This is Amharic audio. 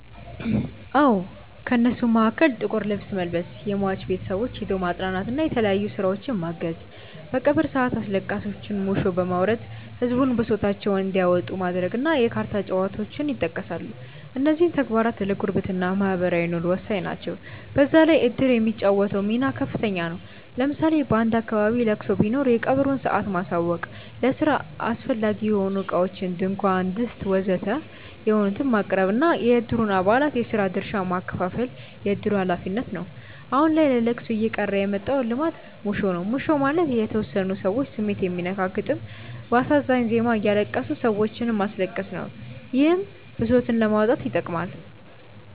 አዎ። ከእነሱም መሀከል ጥቁር ልብስ መልበስ፣ የሟች ቤተሰቦችን ሄዶ ማፅናናት እና የተለያዩ ስራዎችን ማገዝ፣ በቀብር ሰአት አስለቃሾች ሙሾ በማውረድ ህዝቡን ብሶታቸውን እንዲያወጡ ማድረግ እና የካርታ ጨዋታዎች ይጠቀሳሉ። እነዚህም ተግባራት ለጉርብትና (ማህበራዊ ኑሮ) ወሳኝ ናቸው። በዛ ላይ እድር የሚጫወተው ሚና ከፍተኛ ነው። ለምሳሌ በአንድ አካባቢ ለቅሶ ቢኖር የቀብሩን ሰአት ማሳወቅ፣ ለስራ አስፈላጊ የሆኑ እቃዎችን (ድንኳን፣ ድስት ወዘተ...) ማቅረብ እና የእድሩን አባላት የስራ ድርሻ ማከፋፈል የእድሩ ሀላፊነት ነው። አሁን ላይ ለለቅሶ እየቀረ የመጣው ልማድ ሙሾ ነው። ሙሾ ማለት የተወሰኑ ሰዎች ስሜት የሚነካ ግጥም በአሳዛኝ ዜማ እያለቀሱ ሰዎችንም ማስለቀስ ነው። ይህም ብሶትን ለማውጣት ይጠቅማል።